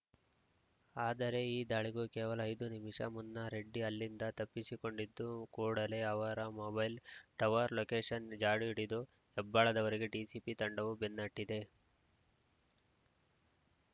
ಆದರೆ ಈ ದಾಳಿಗೂ ಕೇವಲ ಐದು ನಿಮಿಷ ಮುನ್ನ ರೆಡ್ಡಿ ಅಲ್ಲಿಂದ ತಪ್ಪಿಸಿಕೊಂಡಿದ್ದು ಕೂಡಲೇ ಅವರ ಮೊಬೈಲ್‌ ಟವರ್‌ ಲೋಕೇಷನ್‌ ಜಾಡು ಹಿಡಿದು ಹೆಬ್ಬಾಳದವರೆಗೆ ಡಿಸಿಪಿ ತಂಡವು ಬೆನ್ನಹಟ್ಟಿದೆ